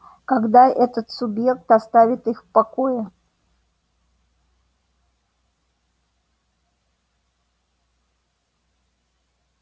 когда этот субъект оставит их в покое